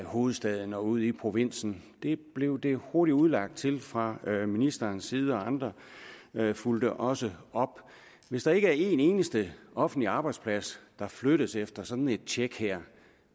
hovedstaden og ud i provinsen det blev det hurtigt udlagt til fra ministerens side og andre fulgte også op hvis der ikke er en eneste offentlig arbejdsplads der flyttes efter sådan et tjek her